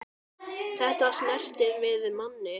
Þetta snertir við manni.